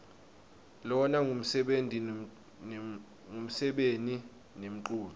lona ngumsebeni nemculo